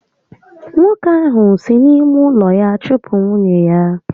Nwoke ahụ si n'ime ụlọ ya chụpụ nwunye ya